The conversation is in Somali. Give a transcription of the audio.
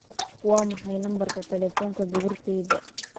waa maxay lambarka taleefanka gabartayda